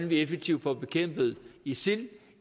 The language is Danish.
vi effektivt får bekæmpet isil